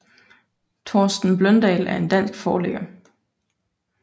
Torsten Bløndal er en dansk forlægger